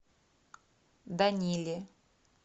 даниле